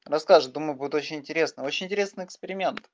расскажет думаю будет очень интересно очень интересный эксперемент